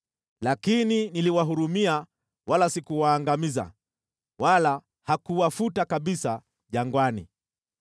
Lakini niliwahurumia wala sikuwaangamiza wala hakuwafuta kabisa jangwani.